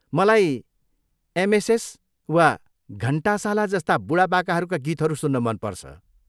मलाई एमएसएस वा घन्टाशाला जस्ता बुढापाकाहरूका गीतहरू सुन्न मन पर्छ।